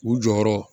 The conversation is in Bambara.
U jɔyɔrɔ